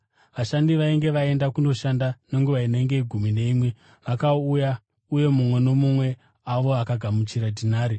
“Vashandi vainge vaenda kundoshanda nenguva inenge yegumi neimwe vakauya uye mumwe nomumwe wavo akagamuchira dhinari.